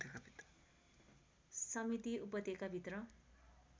समिति उपत्यका भित्र